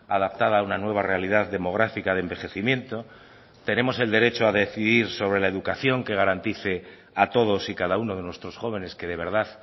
adaptada a una nueva realidad demográfica de envejecimiento tenemos el derecho a decidir sobre la educación que garantice a todos y cada uno de nuestros jóvenes que de verdad